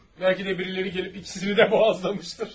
Bəlkə də biriləri gəlib ikisini də boğazlamışdır.